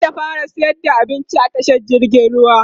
zata fara sayar da abinci a tashar jirgin ruwa